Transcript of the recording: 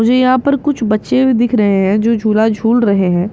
मुझे यहाँ पर कुछ बच्चे दिख रहे हैं जो झूला झूल रहे हैं यहाँ --